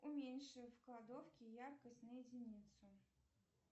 уменьши в кладовке яркость на единицу